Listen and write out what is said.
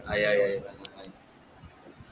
ആയി ആയ് ആയ് പായൊന്ന്